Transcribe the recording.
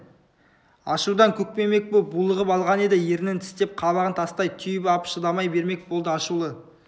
ашудан көкпеңбек боп булығып алған еді ернін тістеп қабағын тастай түйіп ап шыдай бермек болды ашулы